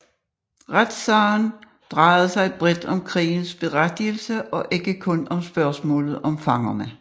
Retssagen drejede sig bredt om krigens berettigelse og ikke kun om spørgsmålet om fangerne